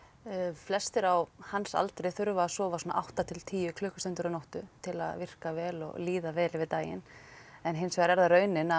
flestir á hans aldri þurfa að sofa svona átta til tíu klukkustundir á nóttu til að virka vel og líða vel yfir daginn en hins vegar er það raunin að